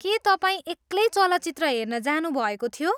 के तपाईँ एक्लै चलचित्र हेर्न जानुभएको थियो?